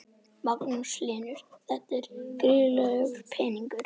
Magnús Hlynur: Þetta er gríðarlegur peningur?